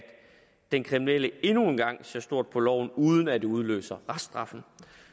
den kriminelle endnu en gang ser stort på loven uden at det udløser reststraffen